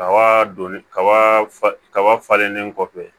Kaba donni kaba fa kaba falennen kɔfɛ